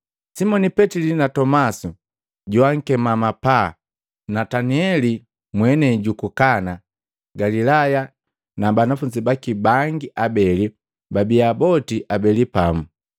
Simoni Petili na Tomasi joankema mapaa na Nataneli mwenei juku Kana Galilaya na bana abeli baka Zebedayu na banafunzi baki bangi abeli, babia boti abeli pamu.